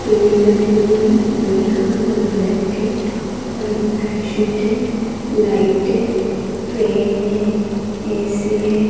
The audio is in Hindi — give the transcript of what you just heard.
बेड लगे हुए है बेड का कलर ब्लैक है व्हाइट बेड शीट है लाइट है फैन है ए_सी है।